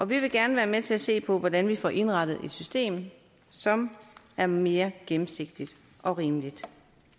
vi vil gerne være med til at se på hvordan vi får indrettet et system som er mere gennemsigtigt og rimeligt